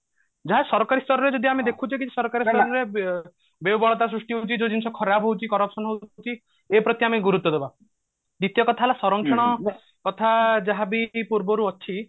ଯାହା ସରକାରୀ ସ୍ତରରେ ଯଦି ଆମେ ଦେଖୁଛେ କି ସରକାରୀ ସ୍ତରରେ ବ୍ୟବହୁଳତା ସୃଷ୍ଟି ହଉଛି ଯୋଉ ଜିନିଷ ଖରାପ ହଉଛି corruption ହଉଛି ଏ ପ୍ରତି ଆମେ ଗୁରୁତ୍ଵ ଦେବା ଦ୍ଵିତୀୟ କଥା ହେଲା ସରଂକ୍ଷଣ ତଥା ଯାହାବି ପୂର୍ବରୁ ଅଛି